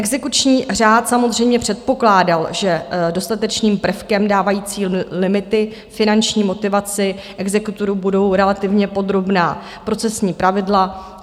Exekuční řád samozřejmě předpokládal, že dostatečným prvkem dávajícím limity finanční motivaci exekutorů budou relativně podrobná procesní pravidla.